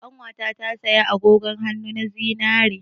Ƙanwata ta saya agogon hannu na zinare.